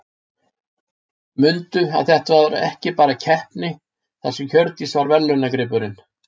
Mundu að þetta var ekki bara keppni þar sem Hjördís var verðlaunagripurinn.